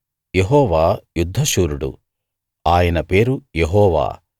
యెహోవా యుద్ధశూరుడు ఆయన పేరు యెహోవా